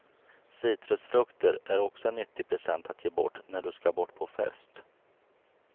Citrusfrukter är också en nyttig present att ge bort när du ska bort på fest.